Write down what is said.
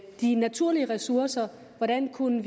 de naturlige ressourcer og hvordan vi kunne